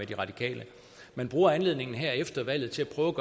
de radikale man bruger anledningen her efter valget til at prøve